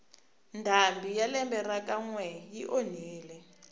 ndhambi ya lembe ra ka nwe yi onhile